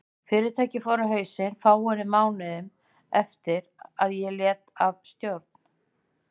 Fyrirtækið fór á hausinn fáeinum mánuðum eftir að ég lét af stjórn.